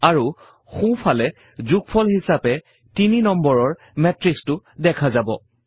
আৰু সোঁফালে যোগফল হিছাপে তিনি নম্বৰৰ মেত্ৰিক্সটো দেখা যাব